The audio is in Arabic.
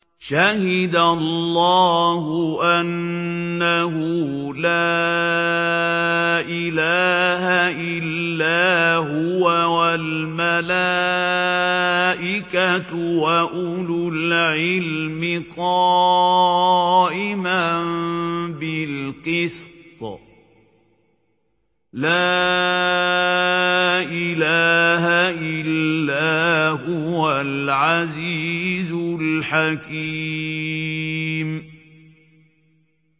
شَهِدَ اللَّهُ أَنَّهُ لَا إِلَٰهَ إِلَّا هُوَ وَالْمَلَائِكَةُ وَأُولُو الْعِلْمِ قَائِمًا بِالْقِسْطِ ۚ لَا إِلَٰهَ إِلَّا هُوَ الْعَزِيزُ الْحَكِيمُ